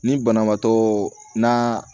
Ni banabaatɔ naa